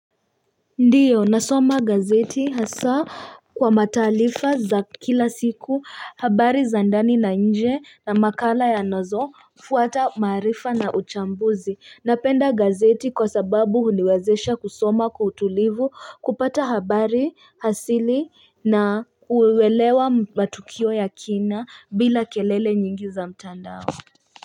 Ndiyo nasoma gazeti hasa kwa matarifa za kila siku, habari za ndani na nje na makala yanazoguata maarifa na uchambuzi. Napenda gazeti kwa sababu huniwezesha kusoma kwa utulivu, kupata habari asili na uelewa matukio ya kina bila kelele nyingi za mtandao.